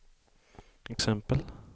exempel